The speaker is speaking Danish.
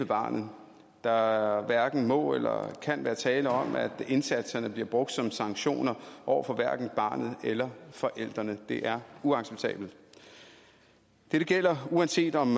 barnet der hverken må eller kan være tale om at indsatserne bliver brugt som sanktioner over for barnet eller forældrene det er uacceptabelt dette gælder uanset om